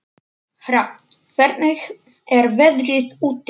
Hrafn, hvernig er veðrið úti?